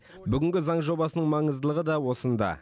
бүгінгі заң жобасының маңыздылығы да осында